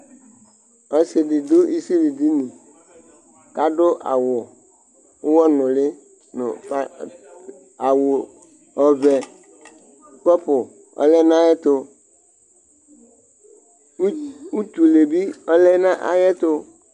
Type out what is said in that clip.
Ɔsɩ dɩ dʋ isilidini kʋ adʋ awʋ ʋɣɔnʋlɩ nʋ pat Awʋ ɔvɛ, kɔpʋ ɔlɛ nʋ ayɛtʋ ut utule bɩ ɔlɛ nʋ ayɛtʋ